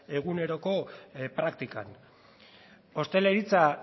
eguneroko praktikan ostalaritza